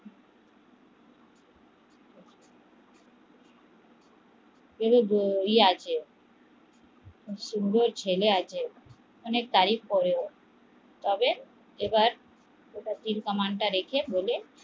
ই আছে ও ছেলে আছে অনেক তারিফ করে তবে এবার তীর কামান তা রেখে